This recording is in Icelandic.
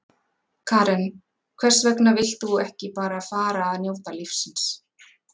Karen: Hvers vegna vilt þú ekki bara fara að njóta lífsins?